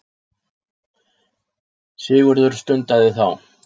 Sigurður stundaði þá.